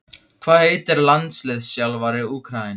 Hvað heitir landsliðsþjálfari Úkraínu?